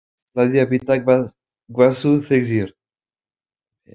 Ég ætlaði að vita hvað þú segðir.